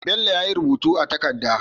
Bello yayi rubutu a takada